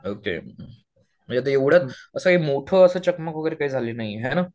Okay म्हणजे असं मोठं असं चकमक वगैरे झाली नाहीये ना.